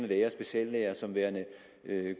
læger og speciallæger som værende